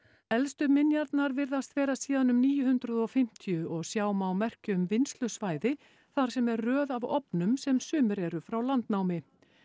elstu minjarnar virðast vera síðan um níu hundruð og fimmtíu og sjá má merki um vinnslusvæði þar sem er röð af ofnum sem sumir eru frá landnámi